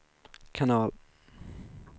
kanal